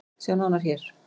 Sjá nánar hér.